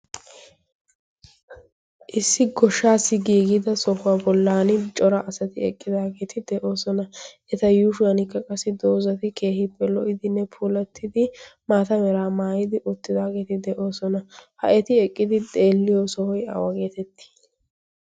issi goshshaassi giigida sohuwaa bollan cora asati eqqidaageeti de7oosona. eta yuushuwankka qassi doozati keehii pe lo77idinne pulattidi maata meraa maayidi uttidaageeti de7oosona. ha eti eqqidi deelliyo sohoi awa geetettii?